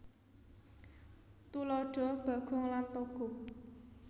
Tuladha Bagong lan Togog